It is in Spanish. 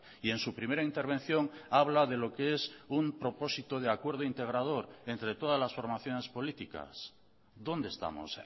y en su primera intervención habla de lo que es un propósito de acuerdo integrador entre todas las formaciones políticas dónde estamos